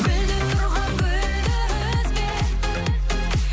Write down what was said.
гүлдеп тұрған гүлді үзбе